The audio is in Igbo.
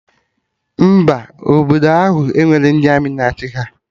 Mba, obodo ahụ enwerọ ndị Armị na achị ha